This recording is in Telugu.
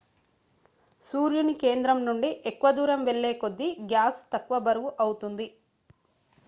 సూర్యుని కేంద్రం నుండి ఎక్కువ దూరం వెళ్లే కొద్దీ గ్యాస్ తక్కువ బరువు అవుతుంది